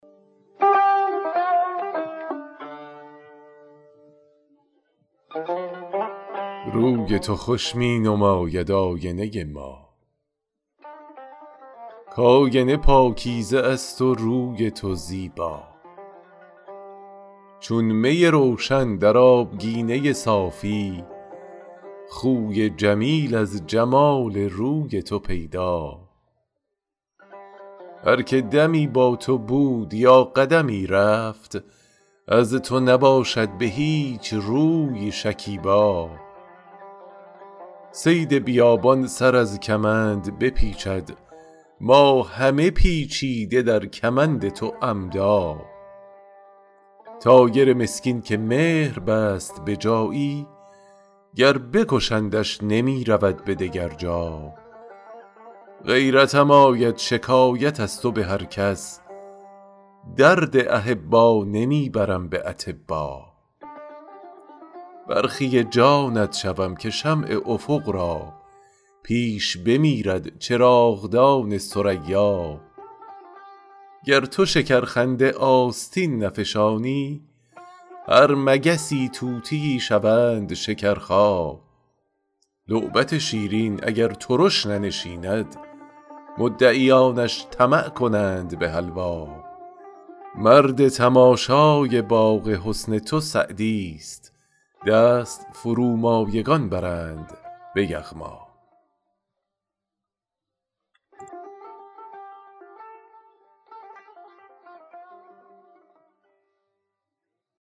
روی تو خوش می نماید آینه ما کآینه پاکیزه است و روی تو زیبا چون می روشن در آبگینه صافی خوی جمیل از جمال روی تو پیدا هر که دمی با تو بود یا قدمی رفت از تو نباشد به هیچ روی شکیبا صید بیابان سر از کمند بپیچد ما همه پیچیده در کمند تو عمدا طایر مسکین که مهر بست به جایی گر بکشندش نمی رود به دگر جا غیرتم آید شکایت از تو به هر کس درد احبا نمی برم به اطبا برخی جانت شوم که شمع افق را پیش بمیرد چراغدان ثریا گر تو شکرخنده آستین نفشانی هر مگسی طوطیی شوند شکرخا لعبت شیرین اگر ترش ننشیند مدعیانش طمع کنند به حلوا مرد تماشای باغ حسن تو سعدیست دست فرومایگان برند به یغما